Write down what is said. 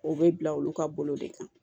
O bɛ bila olu ka bolo de kan